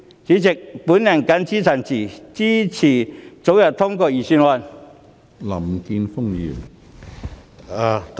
主席，我謹此陳辭，支持早日通過預算案。